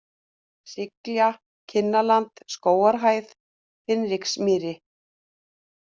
Sylgja, Kinnarland, Skógarhæð, Hinriksmýri